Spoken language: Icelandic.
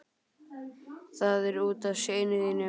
Það er út af syni þínum.